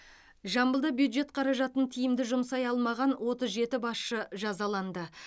жамбылда бюджет қаражатын тиімді жұмсай алмаған отыз жеті басшы жазаланды